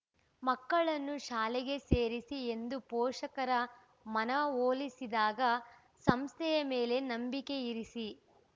ಮಕ್ಕಳನ್ನು ಶಾಲೆಗೆ ಸೇರಿಸಿ ಎಂದು ಪೋಷಕರ ಮನವೊಲಿಸಿದಾಗ ಸಂಸ್ಥೆಯ ಮೇಲೆ ನಂಬಿಕೆಯಿರಿಸಿ